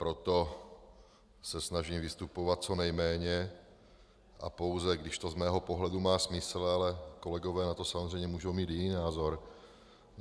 Proto se snažím vystupovat co nejméně a pouze, když to z mého pohledu má smysl, ale kolegové na to samozřejmě můžou mít jiný názor.